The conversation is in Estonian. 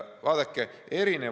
Vaadake, siin on erinevus.